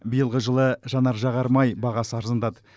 биылғы жылы жанар жағармай бағасы арзандады